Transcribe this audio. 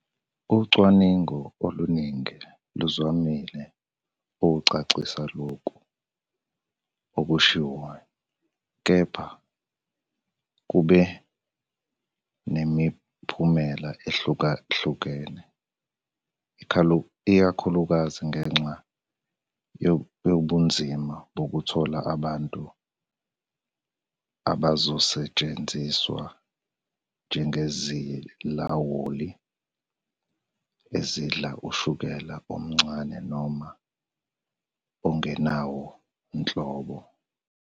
Ucwaningo oluningi luzamile ukucacisa lokho okushiwoyo, kepha kube nemiphumela ehlukahlukene, ikakhulukazi ngenxa yobunzima bokuthola abantu abazosetshenziswa njengezilawuli ezidla ushukela omncane noma ongenawo nhlobo.